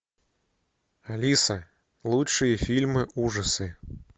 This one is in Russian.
алиса лучшие фильмы ужасы